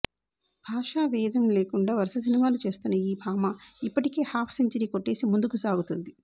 భాషాబేధం లేకుండా వరుస సినిమాలు చేస్తున్న ఈ భామ ఇప్పటికే హాఫ్ సెంచరీ కొట్టేసి ముందుకు సాగుతోంది